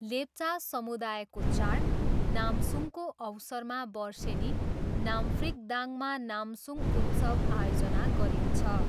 लेप्चा समुदायको चाड नामसुङको अवसरमा वर्षेनि नाम्फ्रिकदाङमा नामसुङ उत्सव आयोजना गरिन्छ।